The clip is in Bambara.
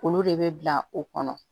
Olu de bɛ bila o kɔnɔ